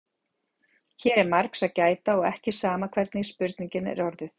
hér er margs að gæta og ekki sama hvernig spurningin er orðuð